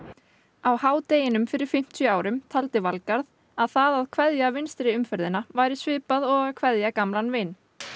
á h deginum fyrir fimmtíu árum taldi Valgarð að það að kveðja vinstri umferðina væri svipað og að kveðja gamlan vin